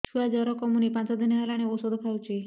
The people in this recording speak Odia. ଛୁଆ ଜର କମୁନି ପାଞ୍ଚ ଦିନ ହେଲାଣି ଔଷଧ ଖାଉଛି